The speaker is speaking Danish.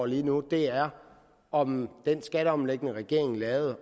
lige nu er om den skatteomlægning regeringen lavede